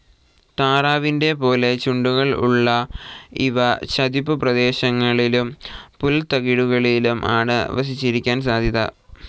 താറാവിന്റെ പോലെ ചുണ്ടുകൾ ഉള്ള ഇവ ചതുപ്പു പ്രദേശങ്ങളിലും പുൽത്തകിടികളിലും ആണ് വസിച്ചിരിക്കാൻ സാധ്യത.